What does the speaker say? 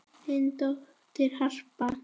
Þín dóttir, Harpa.